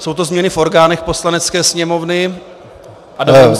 Jsou to změny v orgánech Poslanecké sněmovny.